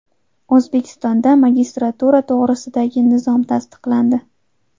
O‘zbekistonda magistratura to‘g‘risidagi nizom tasdiqlandi.